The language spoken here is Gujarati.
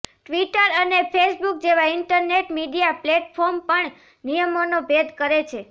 ટ્વિટર અને ફેસબુક જેવા ઇન્ટરનેટ મીડિયા પ્લેટફોર્મ પણ નિયમોનો ભેદ કરે છે